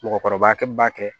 Mɔgɔkɔrɔba kɛ min b'a kɛ